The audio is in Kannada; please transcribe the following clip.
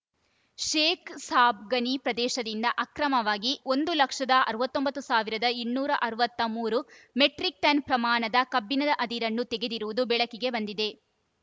ಶೇಖ್‌ ಸಾಬ್‌ ಗಣಿ ಪ್ರದೇಶದಿಂದ ಅಕ್ರಮವಾಗಿ ಒಂದ್ ಲಕ್ಷದ ಅರವತ್ತ್ ಒಂಬತ್ತ್ ಸಾವಿರದ ಇನ್ನೂರ ಅರವತ್ತ್ ಮೂರು ಮೆಟ್ರಿಕ್‌ ಟನ್‌ ಪ್ರಮಾಣದ ಕಬ್ಬಿಣದ ಅದಿರನ್ನು ತೆಗೆದಿರುವುದು ಬೆಳಕಿಗೆ ಬಂದಿದೆ